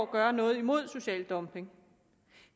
gøre noget imod social dumping